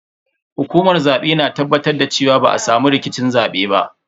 Hukumar zabe na tabbatar da cewa ba a samu rikicin zabe ba.